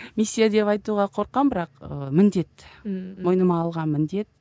миссия деп айтуға қорқамын бірақ ы міндет ммм мойныма алған міндет